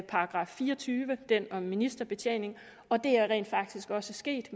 § fire og tyve den om ministerbetjening og det er rent faktisk også sket